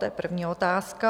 To je první otázka.